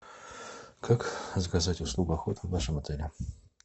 как заказать услугу охота в нашем отеле